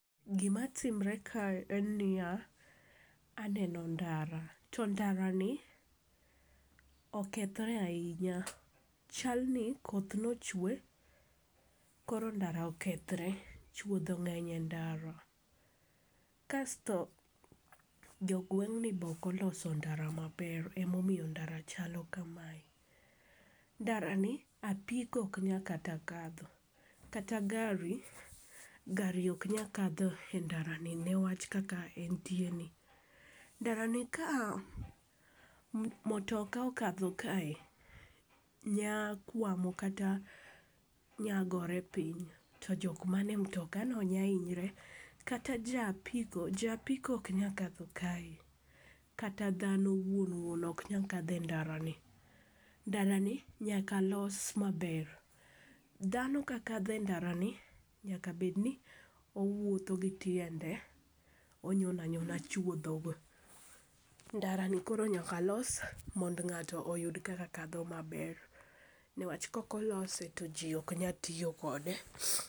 Gimatimre kae en niya, aneno ndara to ndarani, okethre ahinya ,chalni koth nochwe koro ndara okethre, chwodho ng'eny e ndara. Kasto jogweng'ni be ok oloso ndara maber, emomiyo ndara chalo kame. Ndarani, apiko ok nya kata kadho, kata gari, gari ok nya kadho e ndarani niwach kaka entieni. Ndarani ka motoka okadho kae, nya kwamo kata nyagore piny to jok mane mtokano nya hinyore, kata ja apiko ,ja apiko ok nya kadho kae, kata dhano wuon wuon ok nya kadho e ndarani. Ndarani nyaka los maber, dhano kakadho e ndarani, nyaka bedni owuotho gi tiende. Onyono anyona chuodhogo. Ndarani koro nyaka los, mondo ng'ato oyud kaka kadho maber, niwach kokolose to ji ok nyal tiyo kode.